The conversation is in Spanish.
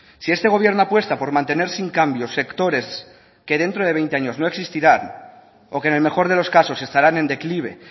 si este gobierno apuesta por mantener sin cambios sectores que dentro de veinte años no existirán o que en el mejor de los casos estarán en declive